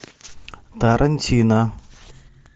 тарантино